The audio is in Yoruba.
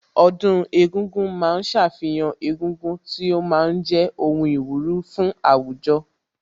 Ọdún egúngún ma ń ṣàfihàn egúngún tí ó ma ń jẹ́ ohun ìwúrí fún àwùjọ